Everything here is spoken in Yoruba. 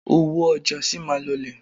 Owó ọjà sì máa lọlẹ̀